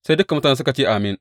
Sai dukan mutane suka ce, Amin.